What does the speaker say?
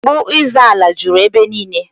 Nsogbu ịzọ ala juru ebe niile